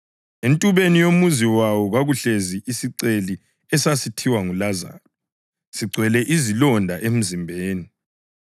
Entubeni yomuzi wayo kwakuhlezi isiceli esasithiwa nguLazaro, sigcwele izilonda emzimbeni,